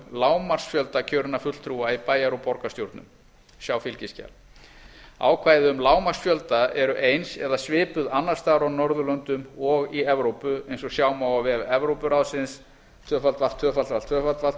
lágmarksfjölda kjörinna fulltrúa í bæjar og borgarstjórnum ákvæði um lágmarksfjölda eru eins eða svipuð annars staðar á norðurlöndum og í evrópu eins og sjá má á